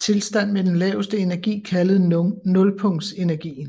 tilstand med den laveste energi kaldet nulpunktsenergien